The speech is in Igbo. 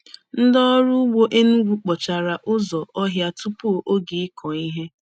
Ndị ọrụ ugbo Enugwu kpochara ụzọ ohia tupu oge ikụ ihe.